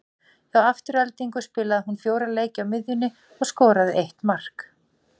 Hjá Aftureldingu spilaði hún fjóra leiki á miðjunni og skoraði eitt mark.